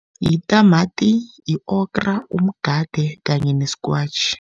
Yitamati, yi-okra, umgade kanye neskwatjhi.